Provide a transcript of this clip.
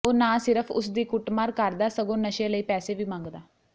ਉਹ ਨਾ ਸਿਰਫ ਉਸ ਦੀ ਕੁੱਟਮਾਰ ਕਰਦਾ ਸਗੋਂ ਨਸ਼ੇ ਲਈ ਪੈਸੇ ਵੀ ਮੰਗਦਾ